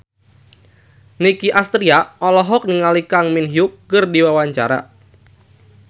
Nicky Astria olohok ningali Kang Min Hyuk keur diwawancara